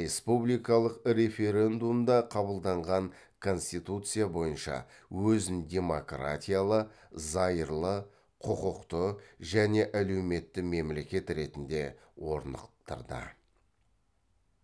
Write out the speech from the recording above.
республикалық референдумда қабылданған конституция бойынша өзін демократиялы зайырлы құқықты және әлеуметті мемлекет ретінде орнықтырды